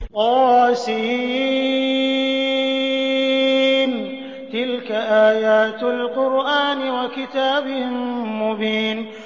طس ۚ تِلْكَ آيَاتُ الْقُرْآنِ وَكِتَابٍ مُّبِينٍ